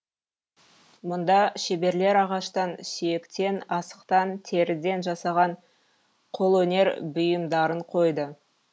мұнда шеберлер ағаштан сүйектен асықтан теріден жасаған қолөнер бұйымдарын қойды